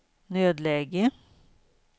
nödläge